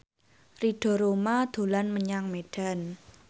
Ridho Roma dolan menyang Medan